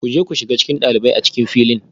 Ku je ku shiga cikin ɗalibai a cikin filin